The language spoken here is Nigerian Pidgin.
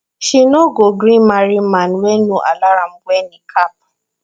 she no go gree marry man wey no allow am wear niqab